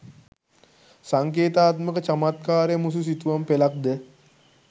සංකේතාත්මක චමත්කාරය මුසු සිතුවම් පෙළක් ද